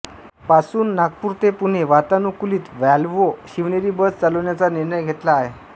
पासून नागपूर ते पुणे वातानुकूलित व्हॉल्व्हो शिवनेरी बस चालविण्याचा निर्णय घेतला आहे